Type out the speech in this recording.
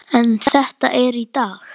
En þetta er í dag.